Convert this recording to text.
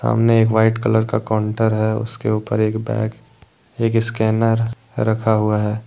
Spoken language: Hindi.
सामने एक वाइट कलर का काउंटर है। उसके ऊपर एक बैग एक स्कैनर रखा हुआ है।